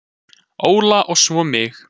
Óla og svo mig.